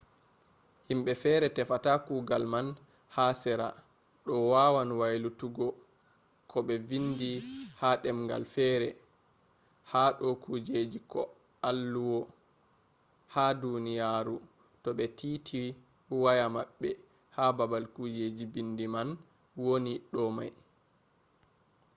himbe fere tefata kugal man ha sera do wawan waylutuggo ko be vindi ha demgal fere ha do kujeji ko alluwo ha duniyaru to be titi waya mabbe ha babal kujeji bindi man woni do mai